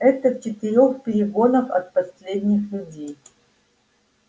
это в четырёх перегонах от последних людей